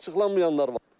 Açıqlanmayanlar var.